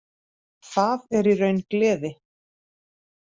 Það er í raun gleði.